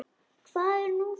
Hvað er nú það?